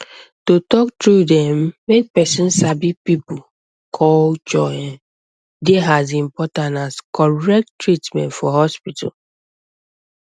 to talk true erm make person sabi people um culture um dey as important as correct treatment for hospital